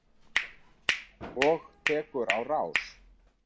Og tekur á rás.